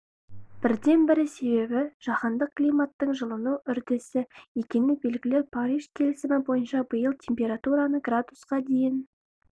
бірден-бір себебі жаһандық климаттың жылыну үрдісі екені белгілі париж келісімі бойынша биыл температураны градусқа дейін